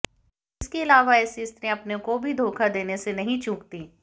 इसके अलावे ऐसी स्त्रियां अपनों को भी धोखा देने से नहीं चूकती हैं